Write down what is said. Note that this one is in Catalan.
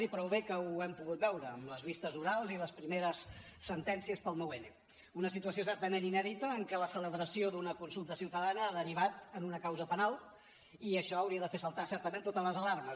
i prou bé que ho hem pogut veure amb les vistes orals i les primeres sentències pel nou n una situació certament inèdita en què la celebració d’una consulta ciutadana ha derivat en una causa penal i això hauria de fer saltar certament totes les alarmes